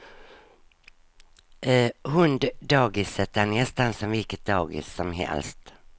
Hunddagiset är nästan som vilket dagis som helst.